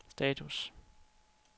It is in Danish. status